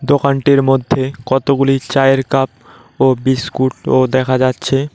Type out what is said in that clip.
দোকানটির মধ্যে কতগুলি চায়ের কাপ ও বিস্কুট -ও দেখা যাচ্ছে।